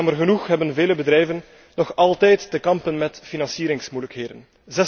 Jammer genoeg hebben vele bedrijven nog altijd te kampen met financieringsmoeilijkheden.